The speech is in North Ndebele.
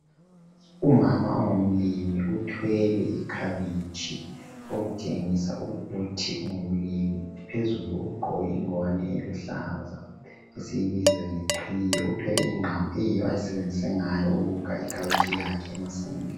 Umama ongumlimi uthwele ikhabitshi okutshengisa ukuthi ungumlimi. Phezulu ugqoke ingwane eluhlaza esiyibiza ngeqhiye. Uthwele ingqamu eyiyo ayisebenzise ngayo ukukha ikhabitshi yakhe emasimini.